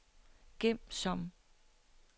gem som